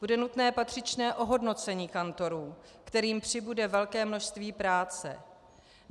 Bude nutné patřičné ohodnocení kantorů, kterým přibude velké množství práce.